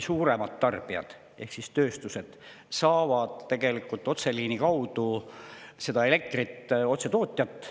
Suuremad tarbijad ehk tööstused saavad tegelikult otseliini kaudu elektrit otse tootjalt.